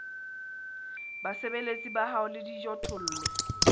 basebeletsi ba hao le dijothollo